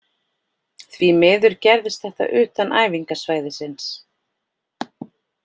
Því miður gerðist þetta utan æfingasvæðisins.